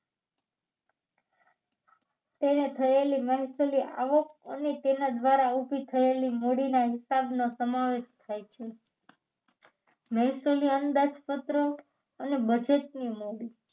થયેલી મહેસુલી આવક અને તેના દ્વારા ઊભી થયેલી મૂડીના હિસાબનો સમાવેશ થાય છે મહેસુલી અંદાજપત્રો અને બજેટની મૂડી